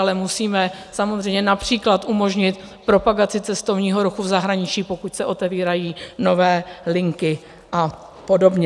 Ale musíme samozřejmě například umožnit propagaci cestovního ruchu v zahraničí, pokud se otevírají nové linky a podobně.